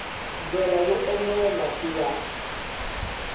ndlela yo enela ku ya